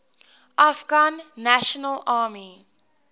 afghan national army